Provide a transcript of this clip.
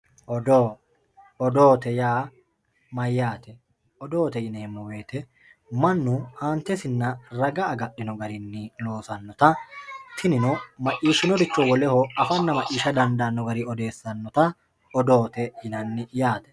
Odoo, odoote yaa mayate, odoote yineemo woyite manu aantesinna raga agadhino garinni loosanotta tinino maccishinoricho woleho afanna maccisha dandano garini odeessanotta odoote yinanni yaate